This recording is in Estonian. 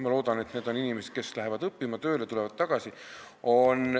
Ma loodan, et need on inimesed, kes lähevad õppima või tööle ja tulevad siis tagasi.